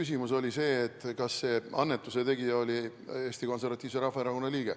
Küsimus oli see, kas selle annetuse tegija oli Eesti Konservatiivse Rahvaerakonna liige.